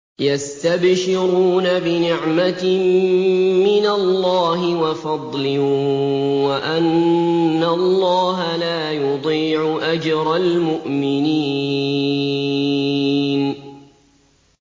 ۞ يَسْتَبْشِرُونَ بِنِعْمَةٍ مِّنَ اللَّهِ وَفَضْلٍ وَأَنَّ اللَّهَ لَا يُضِيعُ أَجْرَ الْمُؤْمِنِينَ